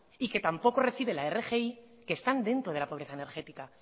y que tampoco recibe la rgi que están dentro de la pobreza energética